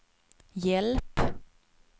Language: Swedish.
hjälp